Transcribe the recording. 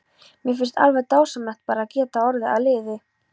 Mér finnst alveg dásamlegt bara að geta orðið að liði.